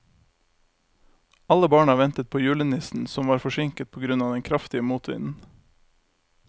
Alle barna ventet på julenissen, som var forsinket på grunn av den kraftige motvinden.